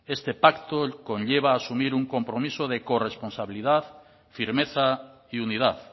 este pacto conlleva asumir un compromiso de corresponsabilidad firmeza y unidad